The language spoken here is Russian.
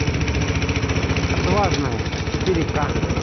отважная четыре к